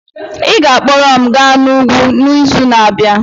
Ị ga-akpọrọ m gaa n'ugwu n'izu na-abịa.